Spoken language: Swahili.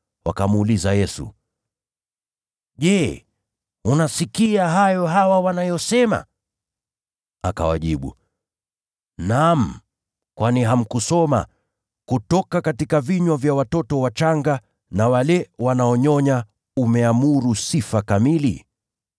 Wakamuuliza Yesu, “Je, unasikia hayo hawa wanayosema?” Akawajibu, “Naam; kwani hamkusoma, “ ‘Midomoni mwa watoto wachanga na wanyonyao umeamuru sifa’?”